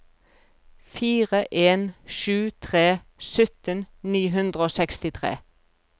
fire en sju tre sytten ni hundre og sekstitre